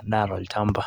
edaa tolchampa.